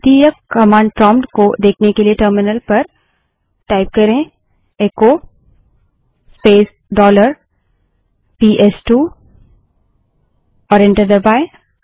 द्वितीयक command prompt को देखने के लिए टर्मिनल पर इको स्पेस डॉलर पीएसटूबड़े अक्षर में टाइप करें और एंटर दबायें